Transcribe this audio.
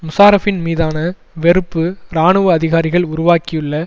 முஷாரஃபின் மீதான வெறுப்பு இராணுவ அதிகாரிகள் உருவாக்கியுள்ள